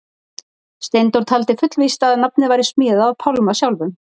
steindór taldi fullvíst að nafnið væri smíðað af pálma sjálfum